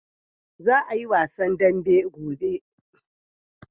Za a yi wasan dambe gobe.